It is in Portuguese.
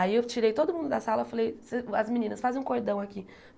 Aí eu tirei todo mundo da sala falei, as meninas fazem um cordão aqui.